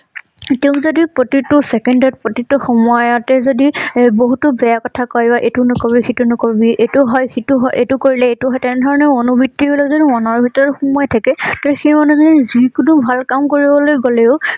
তেওঁক যদি প্ৰতিটো ছেকেণ্ডত প্ৰতিটো সময়তে যদি এ বহুতো বেয়া কথা কৈ বা এইটো নকৰিবি সেইটো নকৰিবি এইটো হয় সেইটো হয় । এইটো কৰিলে এইটো হয় তেনেধৰণৰ মনোবৃত্তিৰ বিলাক যদি মনৰ ভিতৰত সুমুৱাই থাকে তে সেই মানুহ জনি যিকোনো ভাল কম কৰিবলৈ গলেও